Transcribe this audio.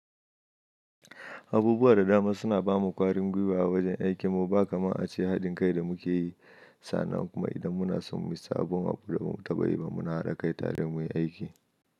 Abubuwa da dama suna bamu kwari gwiwa a wajen aikin mu ba kamar haɗin kai da muke sannan kuma idan muna son muyi sabon abu da ba mu taɓa yi ba, muna haɗa kai tare muyi aiki.